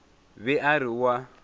be a re o a